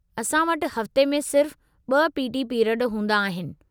असां वटि हफ़्ते में सिर्फ़ु ब॒ पी.टी. पीरियड हूंदा आहिनि।